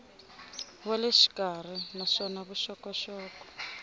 wa le xikarhi naswona vuxokoxoko